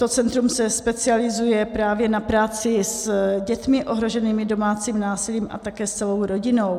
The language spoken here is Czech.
To centrum se specializuje právě na práci s dětmi ohroženými domácím násilím a také s celou rodinou.